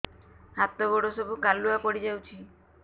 ହାତ ଗୋଡ ସବୁ କାଲୁଆ ପଡି ଯାଉଛି